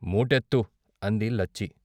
"మూటెత్తు " అంది లచ్చి.